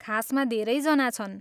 खासमा धेरैजना छन्।